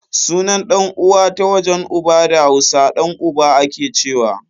Sunan ɗan uwa ta wajen uba da hausa, ɗan uba akecewa